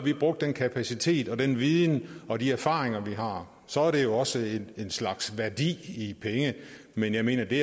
brugte den kapacitet og den viden og de erfaringer vi har så er det jo også en slags værdi i penge men jeg mener at det